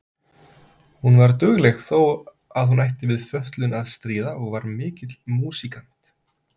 Hún var dugleg þó að hún ætti við fötlun að stríða og var mikill músíkant.